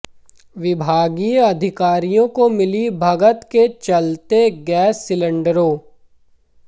विभागीय अधिकारियों की मिली भगत के चलते गैस सिलेंडरों